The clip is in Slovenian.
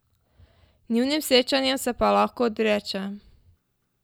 Njunim srečanjem se pa lahko odreče.